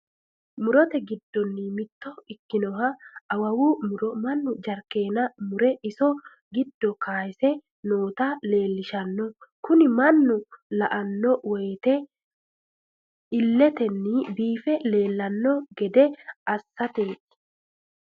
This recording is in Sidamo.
murote giddonni mitto ikkinoha awawu muro mannu jarkiina mure isi giddo kaase noota leelishshanno, kuni mannu la'anno wote illetenni biife leelanno gede assateeti.